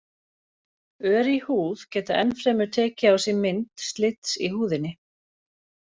Ör í húð geta enn fremur tekið á sig mynd slits í húðinni.